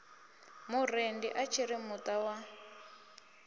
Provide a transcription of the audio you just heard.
murendi a tshiri muta wa